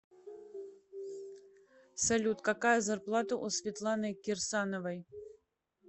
салют какая зарплата у светланы кирсановой